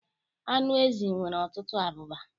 Anụ ezi nwere ọtụtụ abụba.